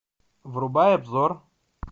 врубай обзор